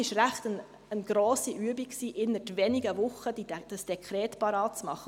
Es war eine ziemlich grosse Übung, dieses Dekret innert weniger Wochen vorzubereiten.